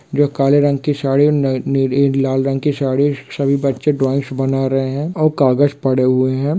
काले रंग की साड़ी न-- नीली-- लाल रंग की साड़ी सभी बच्चे ड्राइंगस बना रहे है और कागज पड़े हुए है।